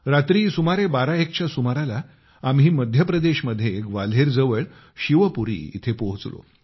रात्री सुमारे बाराएकच्या सुमाराला आम्ही मध्यप्रदेशमध्ये ग्वाल्हेर जवळ शिवपुरी येथे पोहोचलो